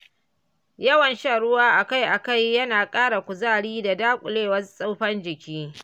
Yawan shan ruwa akai-akai yana ƙara kuzari da daƙile tsufan jiki.